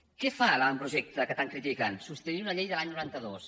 què fa l’avantprojecte que tant critiquen substituir una llei de l’any noranta dos